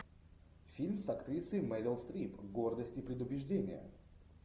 фильм с актрисой мерил стрип гордость и предубеждение